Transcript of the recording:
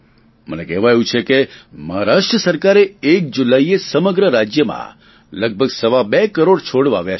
મને કહેવાયું છે કે મહારાષ્ટ્ર સરકારે એક જુલાઈએ સમગ્ર રાજ્યમાં લગભગ સવા બે કરોડ છોડ વાવ્યા છે